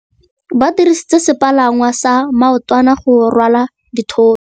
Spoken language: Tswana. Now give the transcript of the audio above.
Ba dirisitse sepalangwasa maotwana go rwala dithôtô.